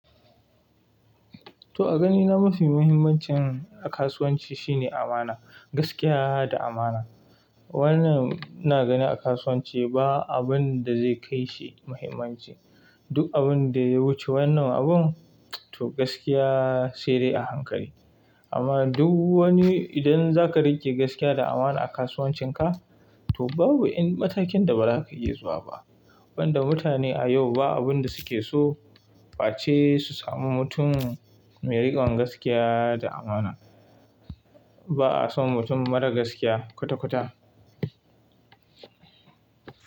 To a ganina mafi muhimmancin a kasuwanci shine amana, gaskiya da amana. Wannan na gani a kasuwanci ba abun da zai kai shi muhimmanci. Duk abin da ya wuce wannan abun, to gaskiya sai dai a hankali. Amma duk wani idan za ka riƙe gaskiya da amana a kasuwancinka, to babu in matakin da ba za ka iya zuwa ba. Wanda mutane a yau ba abin da suke so ba ce su samu mutum mai riƙon gaskiya da amana. Ba'a son mutum marar gaskiya kwata-kwata.